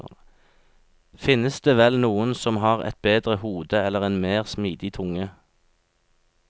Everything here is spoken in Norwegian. Finnes det vel noen som har et bedre hode eller en mer smidig tunge?